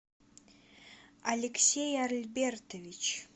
алексей альбертович